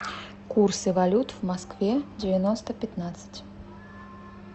курсы валют в москве девяносто пятнадцать